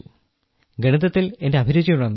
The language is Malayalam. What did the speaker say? ഗണിതത്തിൽ എന്റെ അഭിരുചി ഉണർന്നു